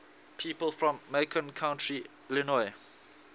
people from macon county illinois